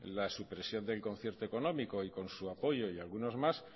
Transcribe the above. la supresión del concierto económico y con su apoyo y algunos más